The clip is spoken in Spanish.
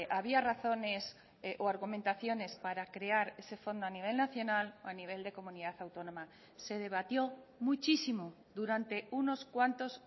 había razones o argumentaciones para crear ese fondo a nivel nacional o a nivel de comunidad autónoma se debatió muchísimo durante unos cuantos